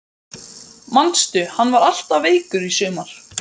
Manstu hann var alltaf veikur í sumar?